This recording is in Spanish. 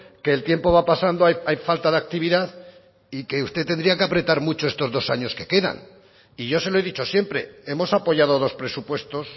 que el tiempo va pasando hay falta de actividad y que usted tendría que apretar mucho estos dos años que quedan y yo se lo he dicho siempre hemos apoyado dos presupuestos